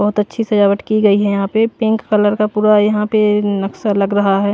बहुत अच्छी सजावट की गई है यहां पे पिंक कलर का पूरा यहां पे नक्शा लग रहा है।